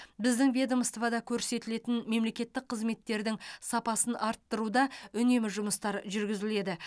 біздің ведомствода көрсетілетін мемлекеттік қызметтердің сапасын арттыруда үнемі жұмыстар жүргізіледі